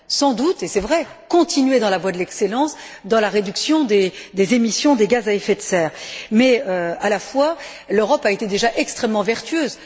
Sans doute, et c'est vrai, continuer sur la voie de l'excellence dans la réduction des émissions de gaz à effet de serre, car, à vrai dire, l'Europe a été déjà extrêmement vertueuse.